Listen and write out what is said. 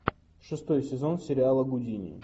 шестой сезон сериала гудини